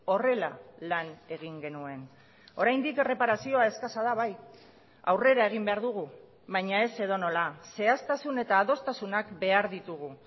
horrela lan egin genuen oraindik erreparazioa eskasa da bai aurrera egin behar dugu baina ez edonola zehaztasun eta adostasunak behar ditugu